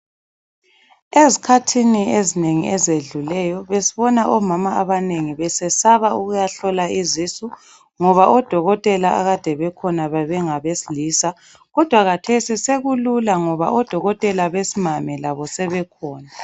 Esikhathini ezinengi ezedluleyo besibona omama abanengi besesaba ukuyahlola izisu ngoba odokotela abanengi akade bekhona bebengabesilisa. Kodwa khathesi sekulula ngoba odokotela besimame labo sebekhona